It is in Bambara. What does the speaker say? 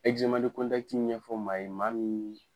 Ɛkizeman de kɔntakiti ɲɛfɔ maa ye maa min